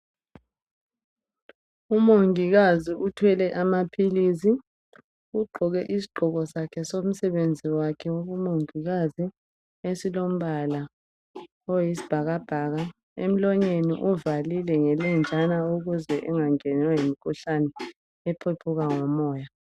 Umongikazi uthwele amaphilisi ugqoke isigqoko sakhe somsebenzi wakhe wabo mongikazi esilombala oyisibhakabhaka emlonyeni uvalile ngelenjana ukuze engangenwa yimkhuhlane ephephuka ngomoya.